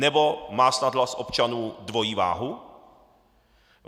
Nebo má snad hlas občanů dvojí váhu?